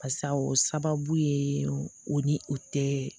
Barisa o sababu ye o ni o tɛ